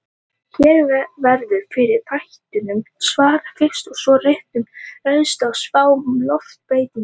Hér verður fyrri þættinum svarað fyrst, og svo rætt um reynslu af spám um loftslagsbreytingar.